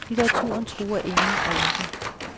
Litteraturen truer ingen og intet.